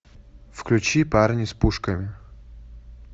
включи парни с пушками